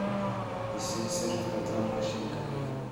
i sii sarifka dollarka shilinka Kenya